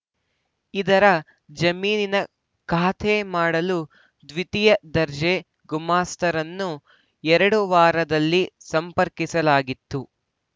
ಇದರ ಜಮೀನಿನ ಖಾತೆ ಮಾಡಲು ದ್ವಿತೀಯ ದರ್ಜೆ ಗುಮಾಸ್ತರನ್ನು ಎರಡು ವಾರದಲ್ಲಿ ಸಂಪರ್ಕಿಸಲಾಗಿತ್ತು